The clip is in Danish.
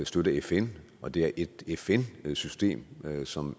støtte fn og det er et fn system som